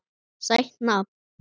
Sætt nafn.